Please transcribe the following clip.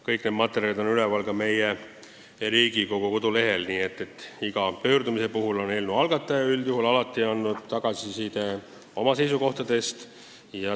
Kõik need materjalid on üleval ka meie Riigikogu kodulehel, nii et iga pöördumise puhul on eelnõu algataja üldjuhul alati andnud tagasisidet oma seisukohtadest.